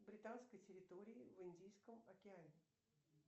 британской территории в индийском океане